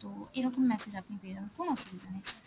তো এরকম message আপনি পেয়ে যাবেন, কোন অসুবিধা নেই